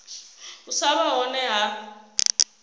u sa vha hone ha